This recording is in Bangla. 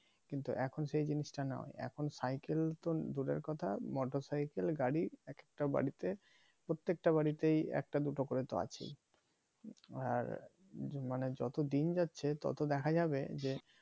কিন্তু এখন সেইজিনিসটা নেই এখন cycle তো দূরের কথা motocycle গাড়ি এক একটা বাড়িতে প্রত্যেকটা বাড়িতেই একটা দুটো করে তো আছেই আর মানে যত দিন যাচ্ছে তত দেখা যাবে যে